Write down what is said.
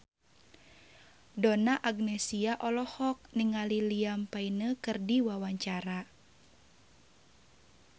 Donna Agnesia olohok ningali Liam Payne keur diwawancara